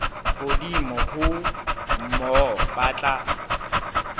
hodimo ho moo ba tla